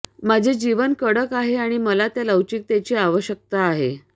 माझे जीवन कडक आहे आणि मला त्या लवचिकतेची आवश्यकता आहे